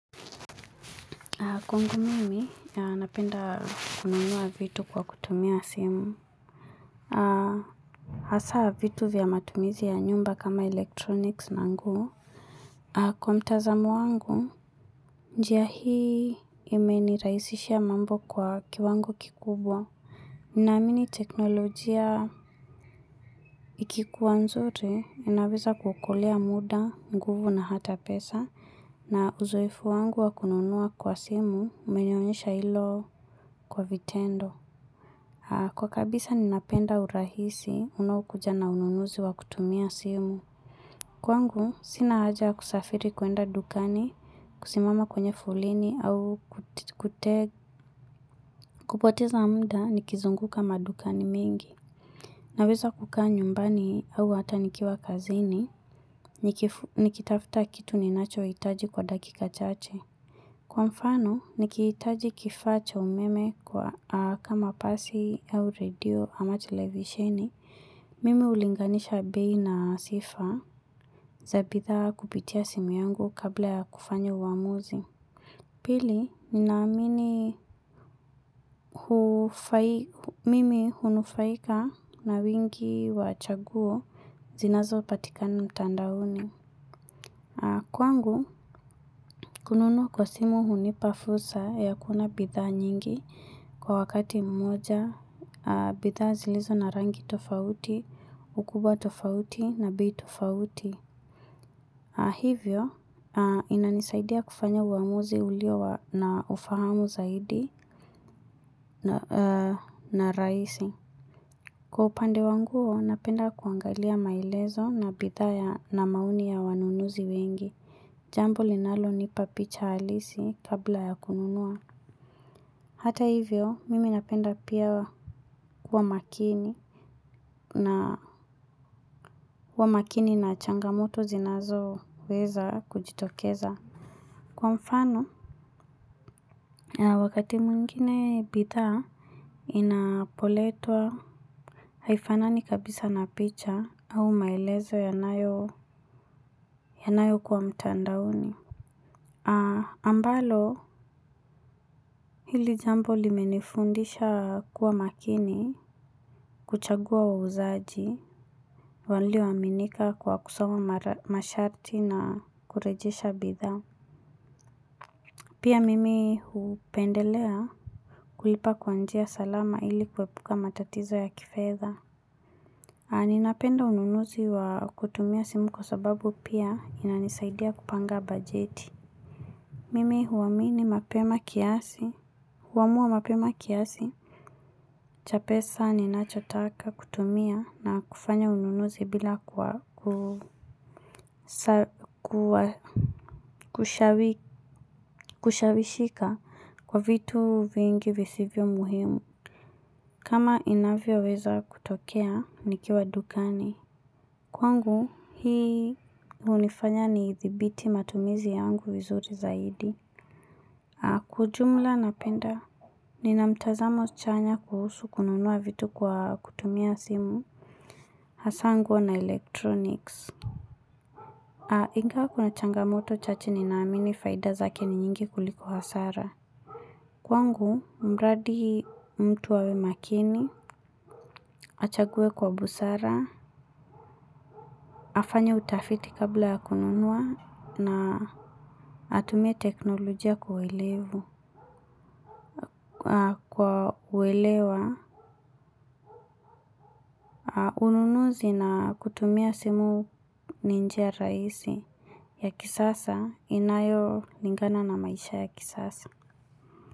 Kwangu mimi, napenda kununua vitu kwa kutumia simu. Hasa vitu vya matumizi ya nyumba kama electronics na nguo. Kwa mtazamo wangu, njia hii imeni rahisishia mambo kwa kiwango kikubwa. Naamini teknolojia ikikuwa nzuri, inaweza kuokolea muda, nguvu na hata pesa. Na uzoefu wangu wakununua kwa simu, umenionyesha ilo kwa vitendo. Kwa kabisa ninapenda urahisi unawokuja na ununuzi wa kutumia simu. Kwangu, sina haja ya kusafiri kuenda dukani, kusimama kwenye foleni au. Kupoteza muda nikizunguka madukani mingi. Naweza kukaa nyumbani au hata nikiwa kazini, nikitafta kitu ninacho hitaji kwa dakika chache. Kwa mfano, nikiitaji kifacha umeme kama pasi au redio ama televisheni, mimi hulinganisha bei na sifa za bidha kupitia simu yangu kabla ya kufanya uamuzi. Pili, ninaamini mimi hunufaika na wingi wachaguo zinazo patikana mtandaoni. Kwangu, kununua kwa simu hunipa fursa ya kuona bidha nyingi kwa wakati mmoja, bidha zilizo na rangi tofauti, ukubwa tofauti na bei tofauti. Hivyo, inanisaidia kufanya uamuzi ulio wa na ufahamu zaidi na rahisi. Kwa upande wanguo, napenda kuangalia maelezo na bidha na maoni ya wanunuzi wengi. Jambo linalo nipapicha halisi kabla ya kununua. Hata hivyo, mimi napenda pia kuwa makini. Na kwa makini na changamoto zinazo weza kujitokeza. Kwa mfano, wakati mwingine bidha inapoletwa haifanani kabisa napicha au maelezo yanayo kuwa mtandaoni, ambalo hili jambo limenifundisha kuwa makini kuchagua wauzaji walioaminika kwa kusoma masharti na kurejesha bidha. Pia mimi hupendelea kulipa kwa njia salama ili kuepuka matatizo ya kifedha. Ninapenda ununuzi wa kutumia simu kwa sababu pia inanisaidia kupanga bajeti. Mimi huamini mapema kiasi, huamua mapema kiasi. Cha pesa ninacho taka kutumia na kufanya ununuzi bila kushawishika kwa vitu vingi visivyo muhimu. Kama inavyo weza kutokea, nikiwa dukani. Kwangu, hii hunifanya ni dhibiti matumizi yangu vizuri zaidi. Kwa ujumla napenda. Nina mtazamo chanya kuhusu kununua vitu kwa kutumia simu. Hasa nguo na elektroniks. Ingawa kuna changamoto chache ninaamini faida zake ni nyingi kuliko hasara. Kwangu, mradi mtu awe makini achague kwa busara. Afanye utafiti kabla ya kununua na atumie teknolojia kwa uelevu. Kwa kuelewa, ununuzi na kutumia simu ni njia rahisi ya kisasa inayo lingana na maisha ya kisasa.